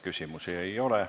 Küsimusi ei ole.